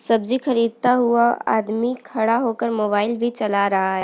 सब्जी खरीदता हुआ आदमी खड़ा होकर मोबाइल भी चला रहा है।